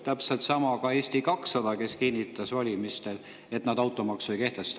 Täpselt sama käib Eesti 200 kohta, ka nemad kinnitasid valimistel, et nad automaksu ei kehtesta.